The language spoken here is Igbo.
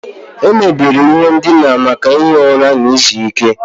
Emebere ihe ndina maka ihi ụra na izu ike.